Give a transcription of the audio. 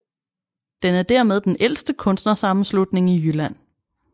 Den er dermed den ældste kunstnersammenslutning i Jylland